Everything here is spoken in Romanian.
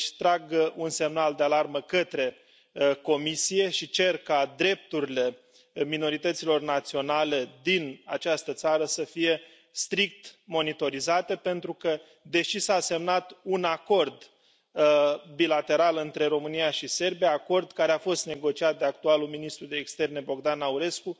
Deci trag un semnal de alarmă către Comisie și cer ca drepturile minorităților naționale din această țară să fie strict monitorizate, pentru că, deși s a semnat un acord bilateral între România și Serbia acord care a fost negociat de actualul ministru de externe, Bogdan Aurescu